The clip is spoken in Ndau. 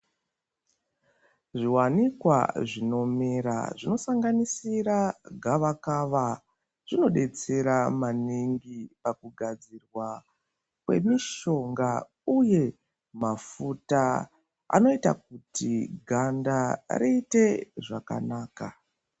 Zviwanikwa zvinomera zvinosanganisira gavakava, zvinodetsera maningi ,pakugadzirwa kwemishonga uye mafuta anoita kuti ganda riite zvakanaka.